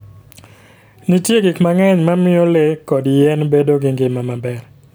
Nitie gik mang'eny ma miyo le kod yien bedo gi ngima maber.